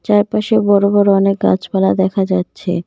চারপাশে বড়ো বড়ো অনেক গাছপালা দেখা যাচ্ছে।